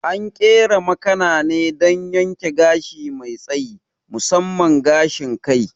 An ƙera makana ne don yanke gashi mai tsayi, musamman gashin kai.